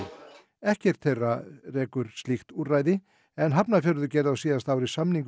ekkert þeirra rekur slíkt úrræði en Hafnarfjörður gerði á síðasta ári samning við